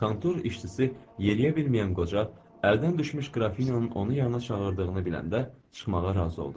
Kontor işçisi yeriyə bilməyən qoca, əldən düşmüş qrafin onun yanına çağırdığını biləndə çıxmağa razı oldu.